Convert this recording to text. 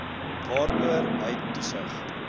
waaroor hy toesig